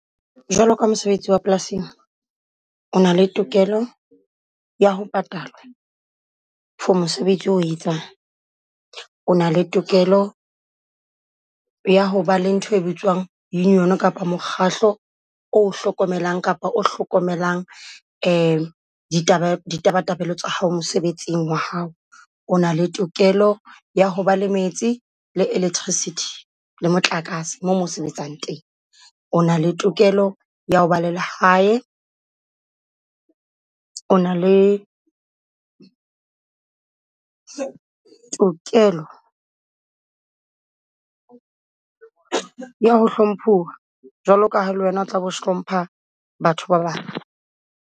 Jwalo ka mosebetsi wa polasing, o na le tokelo ya ho patala for mosebetsi o o etsang. O na le tokelo ya ho ba le ntho e bitswang Union-o kapa mokgahlo o o hlokomelang, kapa o hlokomelang ditaba ditabatabelo tsa hao mosebetsing wa hao. O na le tokelo ya ho ba le metsi le electricity le motlakase moo mo o sebetsang teng. O na le tokelo ya ho ba le lehae, o na le o na le tokelo ya ho hlomphuwa jwalo ka ha le wena o tla be o hlompha batho ba bang.